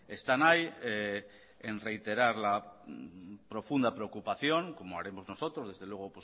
están ahí en reiterar la profunda preocupación como haremos nosotros desde luego